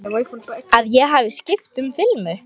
Að ég hafi skipt um filmu.